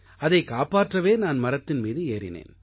அதைக் காப்பாற்றவே நான் மரத்தின் மீது ஏறினேன்